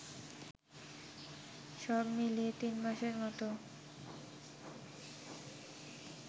সবমিলিয়ে তিনমাসের মতো